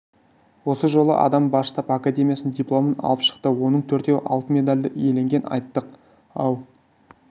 осы жолы адам бас штаб академиясының дипломын алып шықты оның төртеуі алтын медальді иеленгенін айттық ал